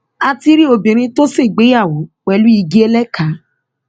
a ti rí obìnrin tó ṣègbéyàwó pẹlú igi ẹlẹkà